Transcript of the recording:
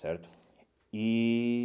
Certo? E